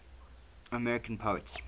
american poets